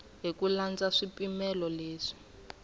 hi ku landza swipimelo leswi